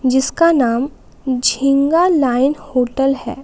जिसका नाम Jhinga line hotel है।